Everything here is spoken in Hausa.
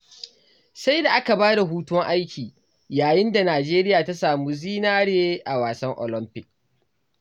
Sai da aka bada hutun aiki, yayin da Nijeriya ta samo zinare a wasan olamfik.